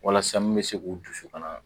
Walasa mun be se k'u dusu ka na